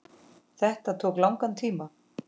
Þetta tók langan tíma.